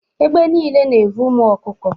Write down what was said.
Egbe nile na-evu ụmụ ọkụkọ.